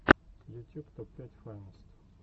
ютюб топ пять файнест